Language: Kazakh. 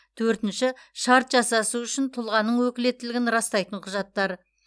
төртінші шарт жасасу үшін тұлғаның өкілеттігін растайтын құжаттар